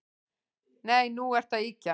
Nei, nú ertu að ýkja